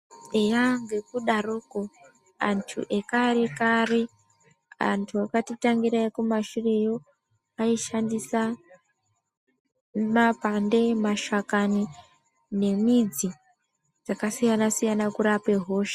Eya ngekudarokwo antu ekarekare antu akatitangira ekumashureyo aishandisa mapande, mashakani nemidzi dzakasiyana siyana kurape hosha.